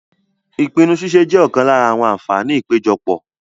Ìpinnu ṣíṣe jẹ́ ọ̀kan lára àwọn àǹfààní ìpéjọpọ̀.